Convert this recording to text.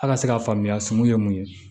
A ka se ka faamuya sun ye mun ye